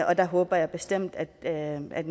og der håber jeg bestemt at nogle af